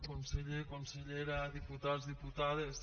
conseller consellera diputats diputades